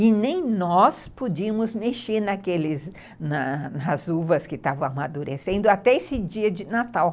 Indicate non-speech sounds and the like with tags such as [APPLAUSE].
E nem nós podíamos mexer naqueles [UNINTELLIGIBLE] nas uvas que estavam amadurecendo até esse dia de Natal.